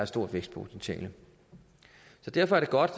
stort vækstpotentiale derfor er det godt